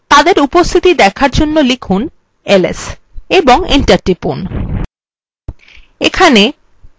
তাদের উপস্থিতি দেখার জন্য লিখুন ls এবং enter টিপুন